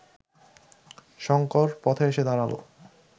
শঙ্কর পথে এসে দাঁড়াল